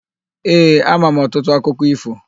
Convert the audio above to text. Ee, ama m ọtụtụ akụkọ ífò.